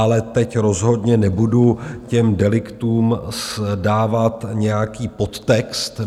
Ale teď rozhodně nebudu těm deliktům dávat nějaký podtext.